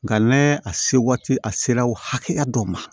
Nka n'a se waati a sera o hakɛya dɔ ma